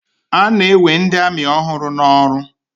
A na-ewe ndị amị ọhụụ n'ọrụ.